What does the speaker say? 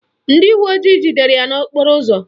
Ndị uwe ojii jidere ya n'okporo ụzọ